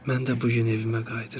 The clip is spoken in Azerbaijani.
Mən də bu gün evimə qayıdıram.